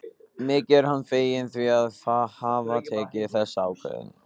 Mikið er hann feginn því að hafa tekið þessa ákvörðun.